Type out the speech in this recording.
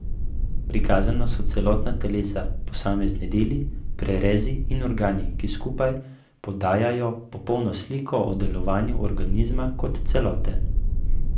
Prikazana so celotna telesa, posamezni deli, prerezi in organi, ki skupaj podajajo popolno sliko o delovanju organizma kot celote.